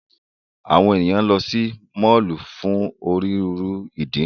Awọn eniyan lọ si mọllu fun oniruuru idi.